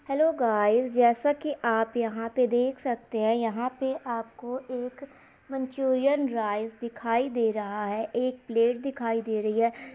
Hello guys जैसा की आप यहाँ पे देख सकते हैं यहाँ पे आपको एक मंचूरियन राइस दिखाई दे रहा है एक प्लेट दिखाई दे रही है।